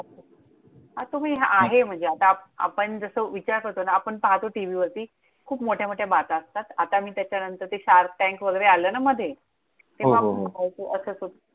हा तुम्ही हां आहे म्हणजे आता आपण जसं विचार करतो ना, आपण जसं पाहतो टीव्हीवरती, खूप मोठ्या मोठ्या बाता असतात. आता मी त्याच्यानंतर ते Shark Tank वगैरे आलं ना मध्ये! हो हो हो!